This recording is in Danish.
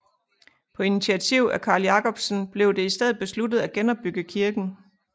På initiativ af Carl Jacobsen blev det i stedet besluttet at genopbygge kirken